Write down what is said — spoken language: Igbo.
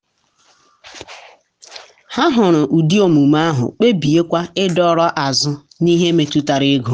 ha hụrụ ụdị omume ahụ kpebiekwa ịdọrọ azụ n’ihe metụtara ego.